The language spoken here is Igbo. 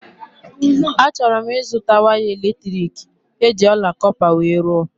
A chọrọ m ịzụta waya elektriki eji ọla kọpa wee rụọ